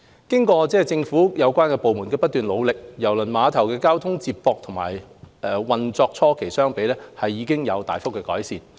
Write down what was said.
經過政府有關部門的不斷努力，郵輪碼頭的交通接駁與運作初期相比，已有大幅改善。